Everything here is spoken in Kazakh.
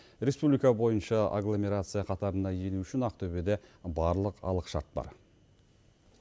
республика бойынша агломерация қатарына ену үшін ақтөбеде барлық алғышарт бар